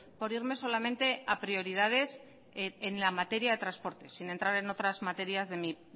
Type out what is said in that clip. por irme solamente a prioridades en la materia de transporte sin entrar materias de mi